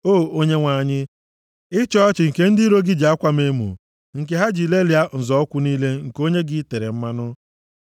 O Onyenwe anyị, ịchị ọchị nke ndị iro gị ji akwa m emo, nke ha ji lelịa nzọ ụkwụ niile nke onye gị i tere mmanụ.